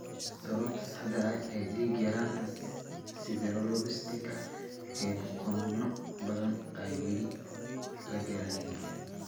Sababta saxda ah ee dhiig-yaraanta sideroblastika ee bukaanno badan ayaan weli la garanayn.